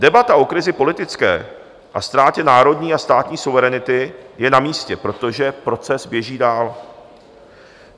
Debata o krizi politické a ztrátě národní a státní suverenity je na místě, protože proces běží dál.